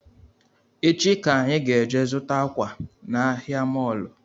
Echi ka anyị ga-eje zụta akwa na ahịa mọlụ